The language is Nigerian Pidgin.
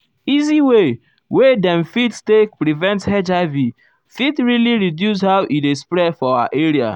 easy way wey dem fit take prevent hiv fit really reduce how e dey spread for our area.